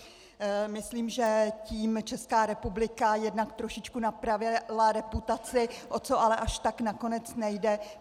Myslím, že tím Česká republika jednak trošičku napravila reputaci, o to ale až tak nakonec nejde.